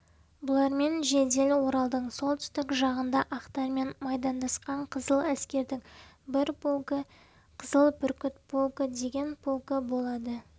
бұлармен жедел оралдың солтүстік жағында ақтармен майдандасқан қызыл әскердің бір полкі қызыл бүркіт полкі деген полкі болады